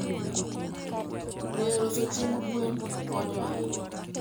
ngeyo loso chiemb gwen konyo ahinya